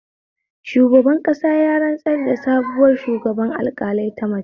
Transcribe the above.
Shugaban ƙasa ya rantsar da sabuwar shugaban alƙalai ta mace